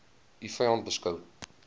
u vyand beskou